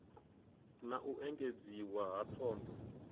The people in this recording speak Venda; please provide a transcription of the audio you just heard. na u engedziwa ha thondo